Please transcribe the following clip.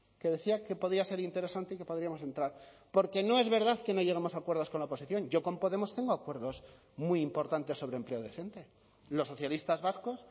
que decía que podía ser interesante y que podríamos entrar porque no es verdad que no llegamos a acuerdos con la oposición yo con podemos tengo acuerdos muy importantes sobre empleo decente los socialistas vascos